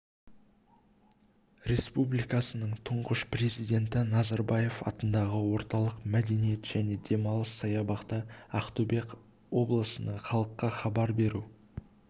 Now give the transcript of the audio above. республикасының тұңғыш президенті назарбаев атындағы орталық мәдениет және демалыс саябақта ақтөбе облысының халыққа хабар беру